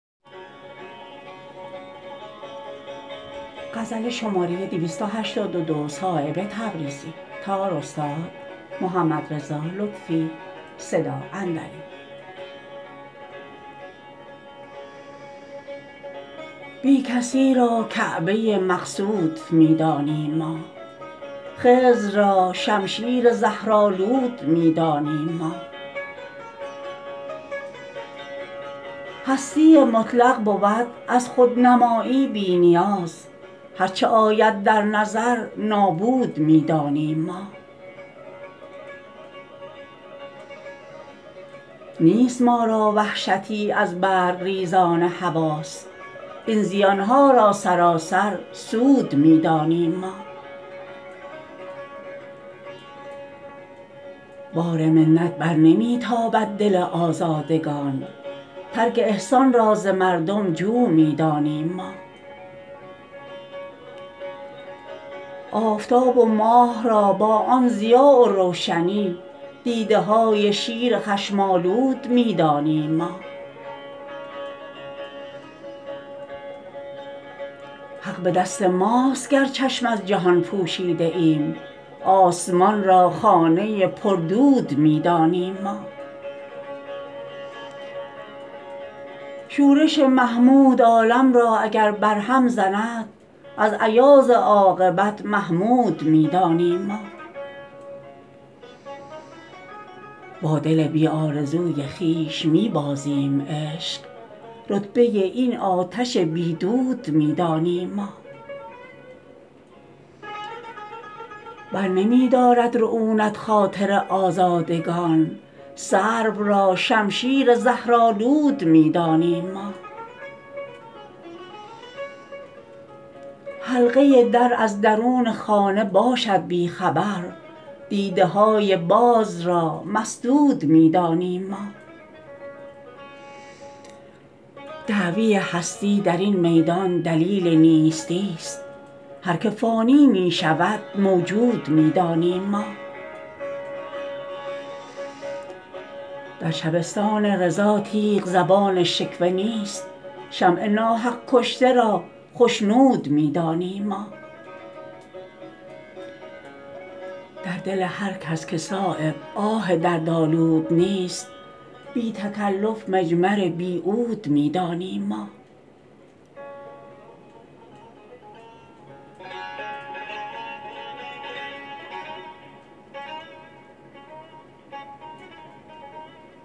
بی کسی را کعبه مقصود می دانیم ما خضر را شمشیر زهرآلود می دانیم ما هستی مطلق بود از خودنمایی بی نیاز هر چه آید در نظر نابود می دانیم ما نیست ما را وحشتی از برگریزان حواس این زیان ها را سراسر سود می دانیم ما بار منت برنمی تابد دل آزادگان ترک احسان را ز مردم جو می دانیم ما آفتاب و ماه را با آن ضیا و روشنی دیده های شیر خشم آلود می دانیم ما حق به دست ماست گر چشم از جهان پوشیده ایم آسمان را خانه پردود می دانیم ما شورش محمود عالم را اگر بر هم زند از ایاز عاقبت محمود می دانیم ما با دل بی آرزوی خویش می بازیم عشق رتبه این آتش بی دود می دانیم ما برنمی دارد رعونت خاطر آزادگان سرو را شمشیر زهرآلود می دانیم ما حلقه در از درون خانه باشد بی خبر دیده های باز را مسدود می دانیم ما دعوی هستی درین میدان دلیل نیستی است هر که فانی می شود موجود می دانیم ما در شبستان رضا تیغ زبان شکوه نیست شمع ناحق کشته را خشنود می دانیم ما در دل هر کس که صایب آه دردآلود نیست بی تکلف مجمر بی عود می دانیم ما